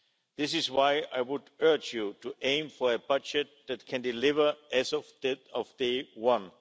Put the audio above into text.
This is why I would urge you to aim for a budget that can deliver as of day one.